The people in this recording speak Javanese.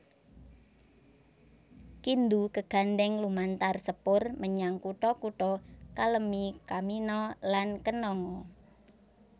Kindu kagandhèng lumantar sepur menyang kutha kutha Kalemie Kamina lan Kananga